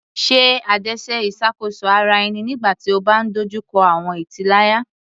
Ṣe adaṣe iṣakoso ara ẹni nigbati o ba dojuko awọn italaya